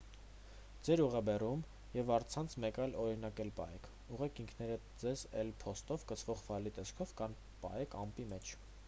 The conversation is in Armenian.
ձեր ուղեբեռում և առցանց մեկ այլ օրինակ էլ պահեք ուղարկեք ինքներդ ձեզ էլ. փոստով կցվող ֆայլի տեսքով կամ պահեք «ամպի» մեջ: